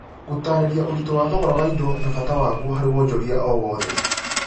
gũtaarĩria ũritũ wa thogora wa indo na bata waguo harĩ wonjoria o wothe